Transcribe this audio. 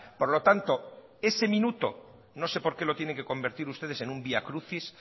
por lo tanto ese minuto no se por qué lo tienen que convertir ustedes en un vía crucis